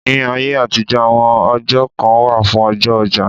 Ní ayé àtijọ́, àwọn ọjọ́ kan wà fún ọjọ́ ọjà.